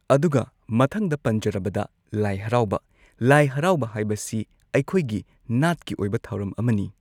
ꯑꯗꯨꯒ ꯃꯊꯪꯗ ꯄꯟꯖꯔꯕꯗ ꯂꯥꯏ ꯍꯔꯥꯎꯕ, ꯂꯥꯏ ꯍꯔꯥꯎꯕ ꯍꯥꯏꯕꯁꯤ ꯑꯩꯈꯣꯏꯒꯤ ꯅꯥꯠꯀꯤ ꯑꯣꯏꯕ ꯊꯧꯔꯝ ꯑꯃꯅꯤ꯫